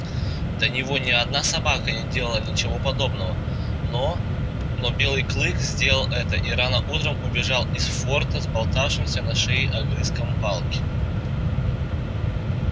до него ни одна собака не делала ничего подобного но но белый клык сделал это и рано утром убежал из форта с болтавшимся на шее огрызком палки